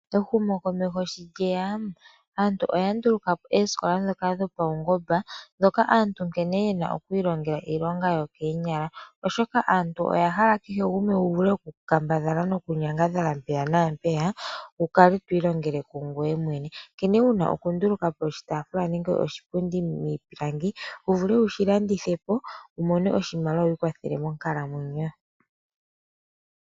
Ehumokomeho sho lyeya aantu oya ndulukapo oosikola ndhoka dhopawungomba ndhoka aantu nkene yena oku ilonga iilonga yo koonyala oshoka aantu oyahala kehe gumwe wuvule okukambadha to mpeya naampeya wi ilongele kungoye mwene. nkene wuna okundulukapo oshitaaafula nenge oshipundi miipilangi wu vule wushilandithepo wu mone oshimaliwa wi ikwathele monkalamwenyo.